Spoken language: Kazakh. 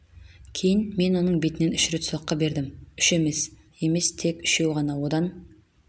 кейін мен оның бетінен үш рет соққы бердім үш емес емес тек үшеу ғана одан